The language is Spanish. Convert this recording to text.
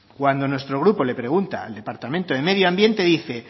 cuando nuestro grupo le pregunta al departamento de medio ambiente dice